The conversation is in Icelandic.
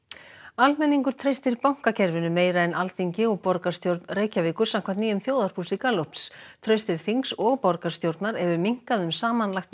almenningur treystir bankakerfinu meira en Alþingi og borgarstjórn Reykjavíkur samkvæmt nýjum þjóðarpúlsi Gallups traust til þings og borgarstjórnar hefur minnkað um samanlagt